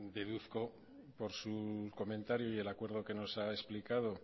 deduzco por su comentario y el acuerdo que nos ha explicado